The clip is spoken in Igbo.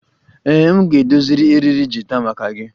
Ee, m ga-edozi eriri gita maka gị